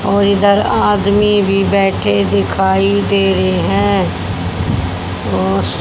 और इधर आदमी भी बैठे दिखाई दे रहे हैं और--